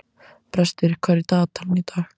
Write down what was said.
Brestir, hvað er í dagatalinu í dag?